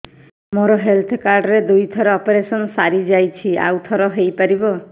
ମୋର health card ରେ ଦୁଇ ଥର ଅପେରସନ ସାରି ଯାଇଛି ଆଉ ଥର ହେଇପାରିବ